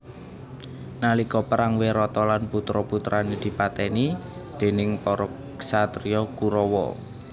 Nalika perang Wirata lan putra putrane dipateni déning para ksatria Kurawa